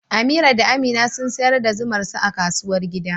Amira da Amina sun sayar da zumar su a kasuwar gida.